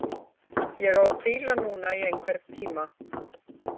Ég á að hvíla núna í einhvern tíma.